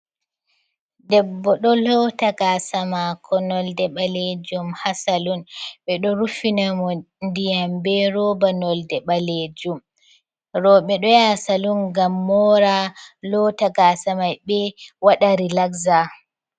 Debbo do lota gasa mako nolde balejum hasalun, be do rufinamo ndiyambe roba nolde balejum robe doya salun gam mora lota gasa mabbe wada rilaxza.